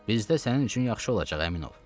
Bizdə sənin üçün yaxşı olacaq, əmin ol.